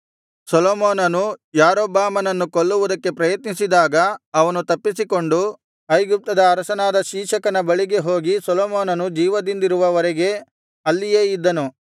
ಸೊಲೊಮೋನನು ಯಾರೊಬ್ಬಾಮನನ್ನು ಕೊಲ್ಲುವುದಕ್ಕೆ ಪ್ರಯತ್ನಿಸಿದಾಗ ಅವನು ತಪ್ಪಿಸಿಕೊಂಡು ಐಗುಪ್ತದ ಅರಸನಾದ ಶೀಶಕನ ಬಳಿಗೆ ಹೋಗಿ ಸೊಲೊಮೋನನು ಜೀವದಿಂದಿರುವ ವರೆಗೆ ಅಲ್ಲಿಯೇ ಇದ್ದನು